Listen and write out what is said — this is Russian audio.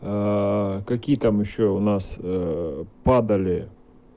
какие там ещё у нас падали